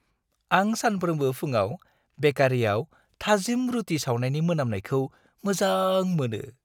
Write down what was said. आं सानफ्रोमबो फुंआव बेकारियाव थाजिम रुथि सावनायनि मोनामनायखौ मोजां मोनो।